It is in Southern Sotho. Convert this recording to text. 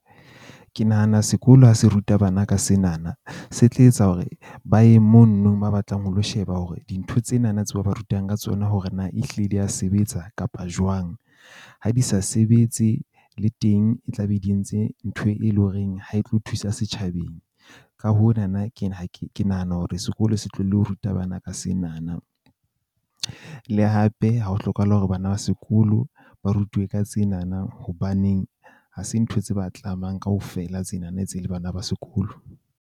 Ke nahana sekolo ha se ruta bana ka sena na, se tla etsa hore ba ye mono ba batlang ho lo sheba hore dintho tsena na tse ba rutang ka tsona hore na e hlile di a sebetsa kapa jwang. Ha di sa sebetse le teng, e tla be di entse ntho, e leng horeng ha e tlo thusa setjhabeng. Ka hona na ke ha ke nahana hore sekolo se tlohelle ho ruta bana ka sena na. Le hape ha ho hlokahale hore bana ba sekolo ba rutuwe ka tsena na. Hobaneng ha se ntho tse ba tlamang kaofela tsena na tse le bana ba sekolo.